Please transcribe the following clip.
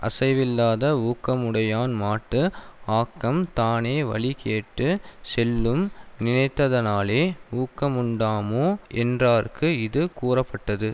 அசைவில்லாத ஊக்கமுடையான்மாட்டு ஆக்கம் தானே வழி கேட்டு செல்லும் நினைத்ததனாலே ஊக்கமுண்டாமோ என்றார்க்கு இது கூறப்பட்டது